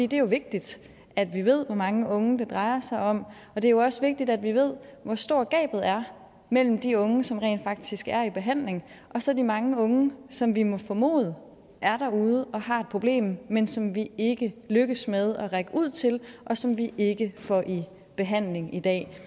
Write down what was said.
det er jo vigtigt at vi ved hvor mange unge det drejer sig om og det er også vigtigt at vi ved hvor stort gabet er mellem de unge som rent faktisk er i behandling og så de mange unge som vi må formode er derude og har et problem men som vi ikke lykkes med at række ud til og som vi ikke får i behandling i dag